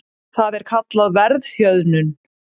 það er kallað verðhjöðnun